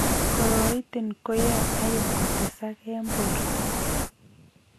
Koroitin koyoe iron kotesak eng' borto